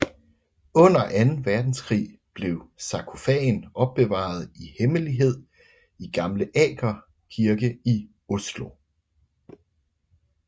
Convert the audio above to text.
Under Anden Verdenskrig blev sarkofagen opbevaret i hemmelighed i Gamle Aker kirke i Oslo